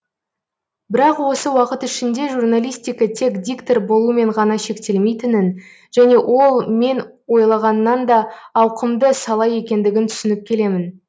бірақ осы уақыт ішінде журналистика тек диктор болумен ғана шектелмейтінін және ол мен ойлағаннан да ауқымды сала екендігін түсініп келемін